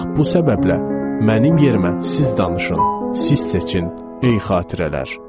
Bax bu səbəblə mənim yerimə siz danışın, siz seçin ey xatirələr.